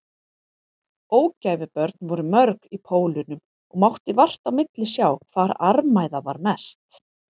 Ógæfubörn voru mörg í Pólunum og mátti vart á milli sjá hvar armæða var mest.